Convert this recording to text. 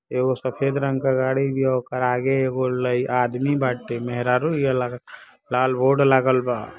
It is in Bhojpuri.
एगो सफेद रंग के गाड़ी बिया ओकर आगे एगो लाई आदमी बाटें मेहरारू बिया लागत बा| लाल बोर्ड लागल बा |